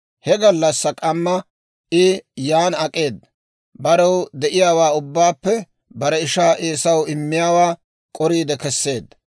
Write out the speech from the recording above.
He gallassaa k'amma I yan ak'eeda; barew de'iyaawaa ubbaappe bare ishaa Eesaw immiyaawaa k'oriide keseedda;